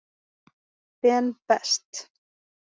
Ben Best.